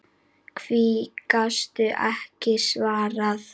Því gastu ekki svarað.